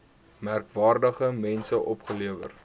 merkwaardige mense opgelewer